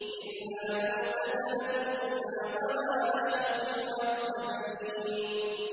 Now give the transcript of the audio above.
إِلَّا مَوْتَتَنَا الْأُولَىٰ وَمَا نَحْنُ بِمُعَذَّبِينَ